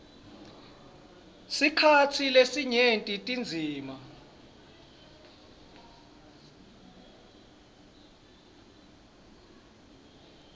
sikhatsi lesinyenti tindzima